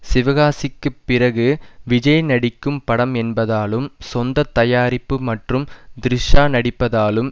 சிவகாசிக்குப் பிறகு விஜய் நடிக்கும் படம் என்பதாலும் சொந்த தயாரிப்பு மற்றும் த்ரிஷா நடிப்பதாலும்